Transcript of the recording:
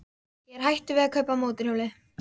Ég er hættur við að kaupa mótorhjólið.